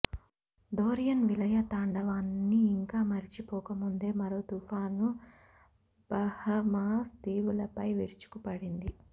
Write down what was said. Dorian విలయ తాండవాన్ని ఇంకా మరచిపోకముందే మరో తుఫాను బహమాస్ దీవులపై విరుచుకుపడింది